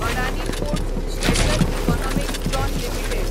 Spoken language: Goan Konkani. Adani ports special economic zone limited